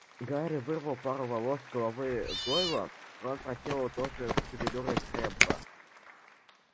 гарри вырвал пару волос с головы гойла рон проделал то же с шевелюрой крэбба